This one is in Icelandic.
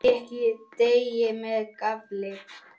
Pikkið deigið með gaffli.